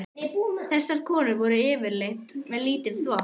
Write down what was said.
Þessar konur voru yfirleitt með lítinn þvott.